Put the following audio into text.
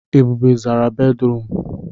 Ebube zara bédrụum.